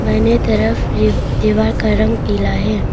दाहिने तरफ री दीवार का रंग पिला है।